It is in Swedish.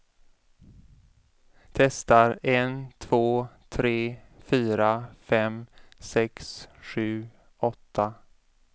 Testar en två tre fyra fem sex sju åtta.